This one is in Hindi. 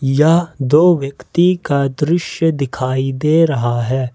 यह दो व्यक्ति का दृश्य दिखाई दे रहा है।